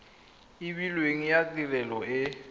e beilweng ya tirelo e